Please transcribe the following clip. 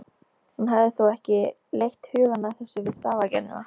Hún hafði þó ekki leitt hugann að þessu við stafagerðina.